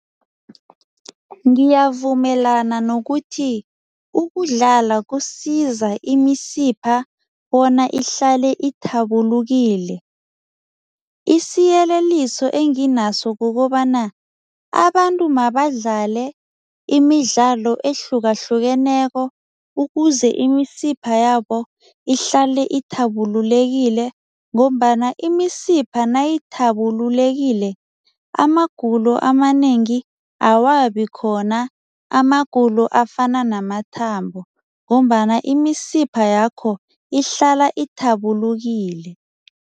Ngiyavumelana nokuthi ukudlala kusiza imisipha bona ihlale ithabulukile. Isiyeleliso enginaso kukobana, abantu mabadlale imidlalo ehlukahlukeneko ukuze imisipha yabo ihlale ithabululekile ngombana imisipha nayithabululekile, amagulo amanengi awabi khona, amagulo afana namathambo ngombana imisipha yakho ihlala ithabulukile.